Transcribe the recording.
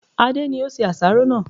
Adé ni ó se àsáró náà